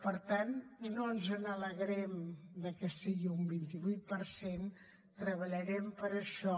per tant no ens alegrem que sigui un vint vuit per cent treballarem per això